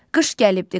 Qış gəlibdir, qış gəlib.